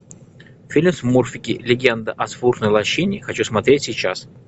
фильм смурфики легенда о смурфной лощине хочу смотреть сейчас